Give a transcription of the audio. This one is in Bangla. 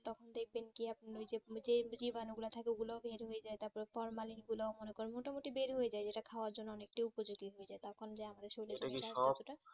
দেখবেন কি আপনি জীবাণু গুলো থাকে ওগুলো